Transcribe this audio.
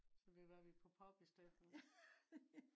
Så det kan være vi på pub i stedet for